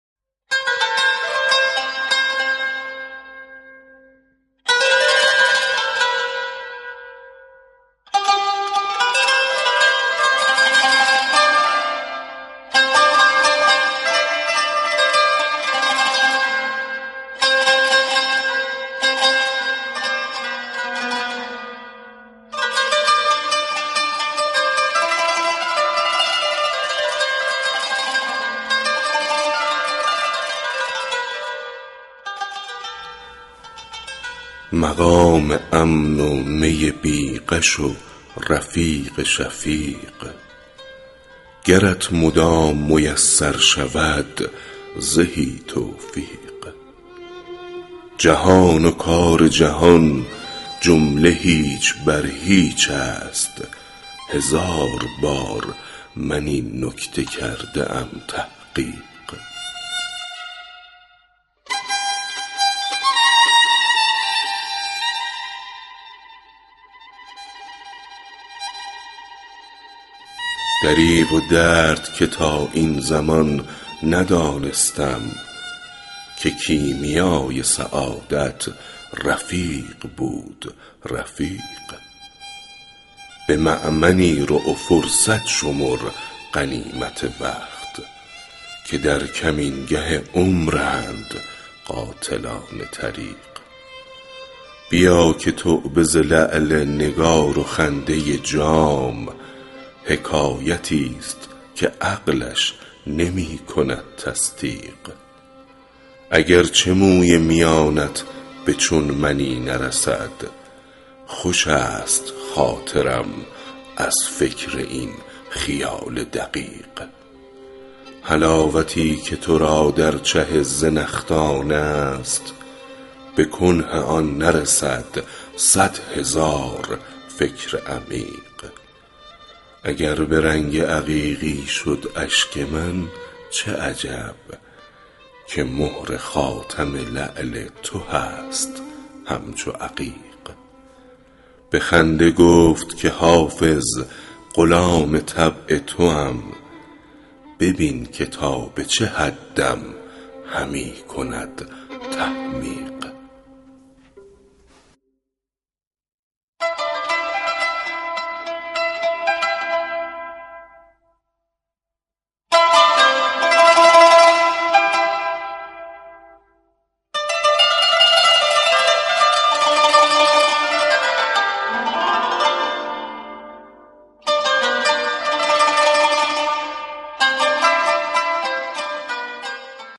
مقام امن و می بی غش و رفیق شفیق گرت مدام میسر شود زهی توفیق جهان و کار جهان جمله هیچ بر هیچ است هزار بار من این نکته کرده ام تحقیق دریغ و درد که تا این زمان ندانستم که کیمیای سعادت رفیق بود رفیق به مأمنی رو و فرصت شمر غنیمت وقت که در کمینگه عمرند قاطعان طریق بیا که توبه ز لعل نگار و خنده جام حکایتی ست که عقلش نمی کند تصدیق اگر چه موی میانت به چون منی نرسد خوش است خاطرم از فکر این خیال دقیق حلاوتی که تو را در چه زنخدان است به کنه آن نرسد صد هزار فکر عمیق اگر به رنگ عقیقی شد اشک من چه عجب که مهر خاتم لعل تو هست همچو عقیق به خنده گفت که حافظ غلام طبع توام ببین که تا به چه حدم همی کند تحمیق